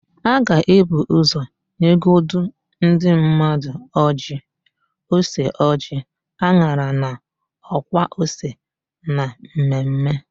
A ga-ebu ụzọ nyegodu ndị mmadụ ọjịị, ose ọjịị, an̄ara na ọkwa ose na mmemme.